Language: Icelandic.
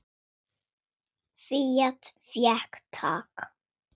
Fía fékk tak.